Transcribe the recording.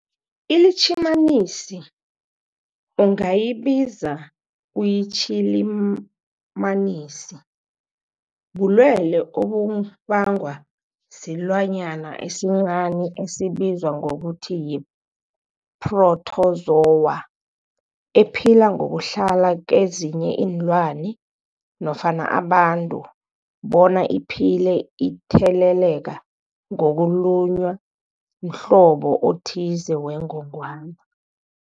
iLitjhimanisi ungayibiza uthiyilitjhimanisi, bulwelwe obubangwa silwanyana esincani esibizwa ngokuthiyi-phrotozowa ephila ngokuhlala kezinye iinlwana nofana abantu bona iphile itheleleka ngokulunywa mhlobo othize wengogwana.